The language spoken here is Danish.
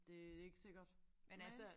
Det ikke sikkert men